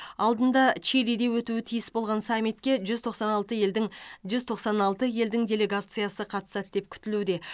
алдында чилиде өтуі тиіс болған саммитке жүз тоқсан алты елдің жүз тоқсан алты елдің делегациясы қатысады деп күтілуде